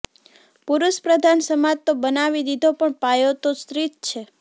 પુરુષ પ્રધાન સમાજ તો બનાવી દીધો પણ પાયો તો સ્ત્રી જ છે